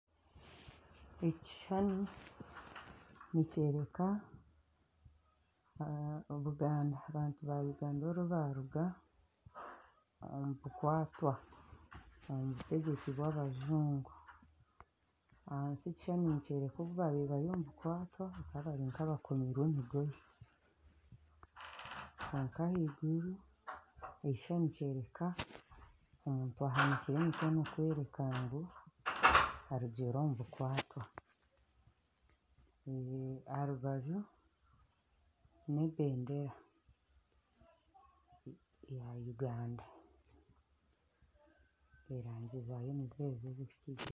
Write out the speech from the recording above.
Ekishushani nikyoreka abantu ba Uganda obu baruga omu bukwatwa omu butegyeki bwabajungu ahansi ekishushani nikyoreka obu babaire bari omu bukwatwa bakaba bakomirwe emigoye ahaiguru ekishushani nikyoreka omuntu ahanikire emikono kworeka ngu arugire omu bukwatwa aha rubaju nebendera ya Uganda erangi zaayo nizezo